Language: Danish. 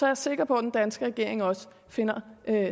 jeg sikker på at den danske regering også finder